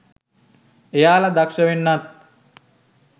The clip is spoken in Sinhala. එයාල දක්ෂ වෙන්නත්